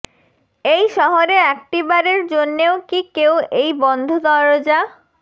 এই শহরে একটিবারের জন্যেও কি কেউ এই বন্ধ দরোজা